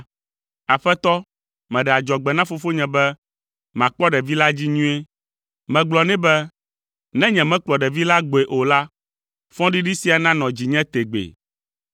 Aƒetɔ, meɖe adzɔgbe na fofonye be makpɔ ɖevi la dzi nyuie. Megblɔ nɛ be, ‘Ne nyemekplɔ ɖevi la gbɔe o la, fɔɖiɖi sia nanɔ dzinye tegbee!’